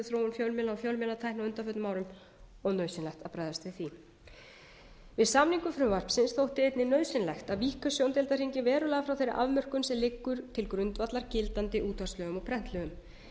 fjölmiðla og fjölmiðlatækni á undanförnum árum og er nauðsynlegt að bregðast við því við samningu frumvarpsins þótti einnig nauðsynlegt að víkka sjóndeildarhringinn verulega frá þeirri afmörkun sem liggur til grundvallar gildandi útvarpslögum og prentlögum